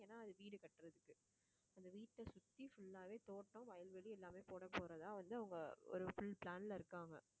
ஏன்னா அது வீடு கட்டுறதுக்கு அந்த வீட்டை சுத்தி full ஆவே தோட்டம் வயல்வெளி எல்லாமே போடப்போறதா வந்து அவங்க ஒரு full plan ல இருக்காங்க